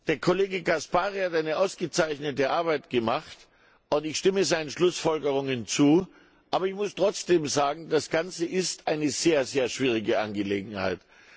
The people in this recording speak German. Der Kollege Caspary hat eine ausgezeichnete Arbeit gemacht, und ich stimme seinen Schlussfolgerungen zu. Aber ich muss trotzdem sagen Das Ganze ist eine sehr schwierige Angelegenheit.